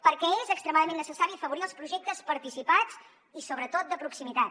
perquè és extremadament necessari afavorir els projectes participats i sobretot de proximitat